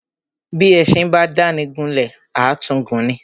Bí éṣin bá dáni gún lè, à tún gùn ni.